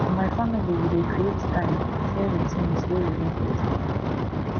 for my family we dey create time share di tins wey we dey grateful for